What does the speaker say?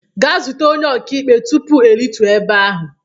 Gaa zute onye ọka ikpe tupu m erute ebe ahụ!